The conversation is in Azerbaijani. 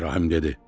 İbrahim dedi: